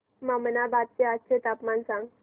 ममनाबाद चे आजचे तापमान सांग